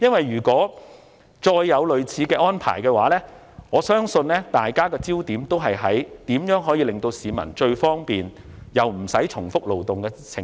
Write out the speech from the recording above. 如果再有類似的安排，我相信大家的焦點仍是在於如何能更方便市民，無需要他們做重複的動作。